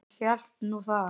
Hún hélt nú það.